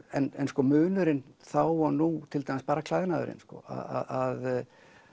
en sko munurinn þá og nú til dæmis bara klæðnaðurinn sko að